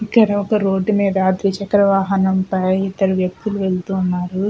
ఇక్కడ ఒక రోడ్డు మీద ద్విచక్ర వాహనం పై ఇద్దరు వ్యక్తులు వెళ్తున్నారు.